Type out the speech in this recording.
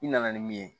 I nana ni min ye